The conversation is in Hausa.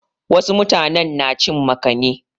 Wasu mutanen na cin makani.